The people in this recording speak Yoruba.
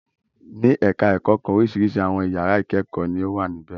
Ní ẹ̀ka-ẹ̀kọ́ kan oríṣiríṣi àwọn ìyàrá ìkẹ́kọ̀ọ́ ni ó wà níbẹ̀.